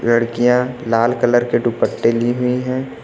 लड़कियां लाल कलर के दुपट्टे ली हुई हैं।